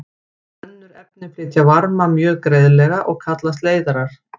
Önnur efni flytja varma mjög greiðlega og kallast leiðarar.